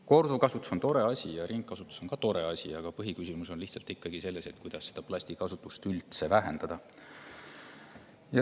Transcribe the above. Korduvkasutus on tore asi ja ringkasutus on ka tore asi, aga põhiküsimus on selles, kuidas üldse plastikasutust vähendada.